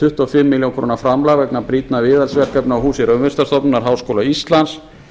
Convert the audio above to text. tuttugu og fimm milljónir króna framlag vegna brýnna viðhaldsverkefna á húsi raunvísindastofnunar háskóla íslands